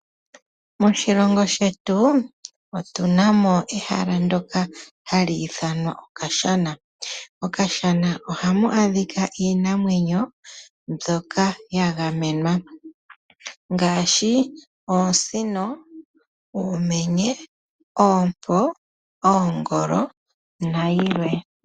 Moshilongo shetu otunamo ehala ndyoka hali ithanwa okashana. Mokashana ohamu adhika iinamwenyo mbyoka yagamenwa oosino, uumenye, oompo, oongolo nayilwe.